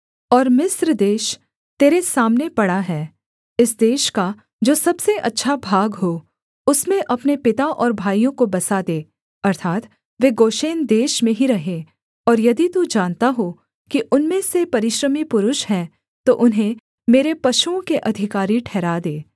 और मिस्र देश तेरे सामने पड़ा है इस देश का जो सबसे अच्छा भाग हो उसमें अपने पिता और भाइयों को बसा दे अर्थात् वे गोशेन देश में ही रहें और यदि तू जानता हो कि उनमें से परिश्रमी पुरुष हैं तो उन्हें मेरे पशुओं के अधिकारी ठहरा दे